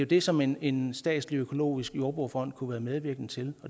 det som en en statslig økologisk jordbrugerfond kunne være medvirkende til